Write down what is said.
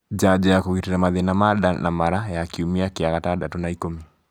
njanjo ya kũgitĩra mathĩna ma nda na mara ya kiumia kĩa gatandatũ na ikũmi